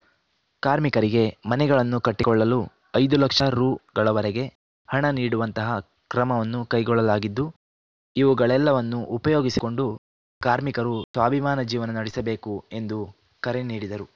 ಕಾರ್ಮಿಕರಿಗೆ ಮನೆಗಳನ್ನು ಕಟ್ಟಿಕೊಳ್ಳಲು ಐದು ಲಕ್ಷ ರೂಗಳವರೆಗೆ ಹಣ ನೀಡುವಂತಹ ಕ್ರಮವನ್ನು ಕೈಗೊಳ್ಳಲಾಗಿದ್ದು ಇವುಗಳೆಲ್ಲವನ್ನೂ ಉಪಯೋಗಿಸಿಕೊಂಡು ಕಾರ್ಮಿಕರು ಸ್ವಾಭಿಮಾನಿ ಜೀವನ ನಡೆಸಬೇಕು ಎಂದು ಕರೆ ನೀಡಿದರು